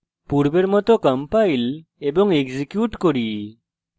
পূর্বের মত compile এবং execute করুন